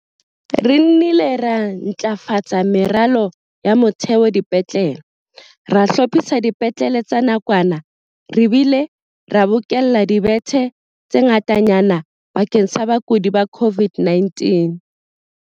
Re nnile ra ntlafatsa meralo ya motheo dipetlele, re hlophisa dipetlele tsa nakwana re bile re bokella dibethe tse ngatanyana bakeng sa bakudi ba COVID-19.